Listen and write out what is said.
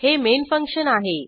हे main function आहे